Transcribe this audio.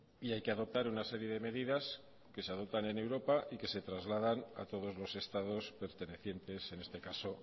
y hay que adoptar una serie de medidas que se adoptan en europa y que se trasladan a todos los estados pertenecientes en este caso